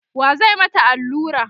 wa zai mata Alura?